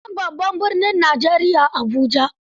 Sunan babban birnin Nigeria Abuja.